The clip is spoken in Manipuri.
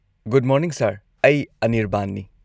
ꯒꯨꯗ ꯃꯣꯔꯅꯤꯡ ꯁꯔ, ꯑꯩ ꯑꯅꯤꯔꯕꯥꯟꯅꯤ꯫